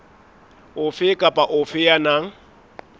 ofe kapa ofe ya nang